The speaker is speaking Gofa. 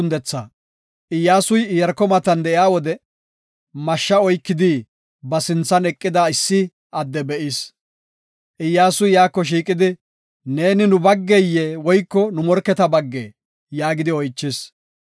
Iyyasuy Iyaarko matan de7iya wode mashsha oykidi ba sinthan eqida issi adde be7is. Iyyasuy iyako shiiqidi, “Neeni nu baggaye woyko nu morketa baggee?” yaagidi oychis.